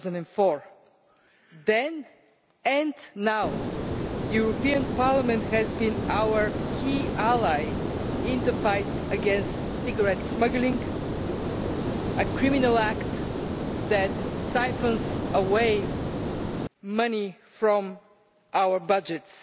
2004. Then, and now, Parliament has been our key ally in the fight against cigarette smuggling, a criminal act that siphons away money from our budgets.